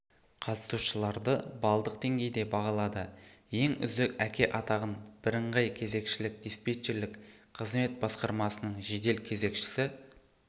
қатысушыларды балдық деңгейде бағалады ең үздік әке атағын бірыңғай кезекшілік диспетчерлік қызмет басқармасының жедел кезекшісі